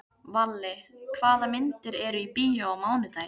Valli, hvaða myndir eru í bíó á mánudaginn?